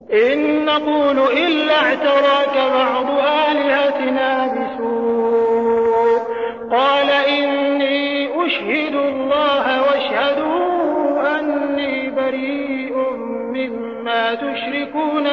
إِن نَّقُولُ إِلَّا اعْتَرَاكَ بَعْضُ آلِهَتِنَا بِسُوءٍ ۗ قَالَ إِنِّي أُشْهِدُ اللَّهَ وَاشْهَدُوا أَنِّي بَرِيءٌ مِّمَّا تُشْرِكُونَ